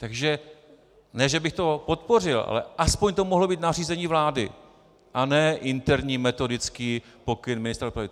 Takže ne že bych to podpořil, ale aspoň to mohlo být nařízení vlády a ne interní metodický pokyn ministra dopravy.